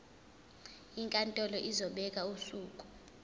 inkantolo izobeka usuku